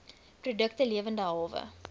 produkte lewende hawe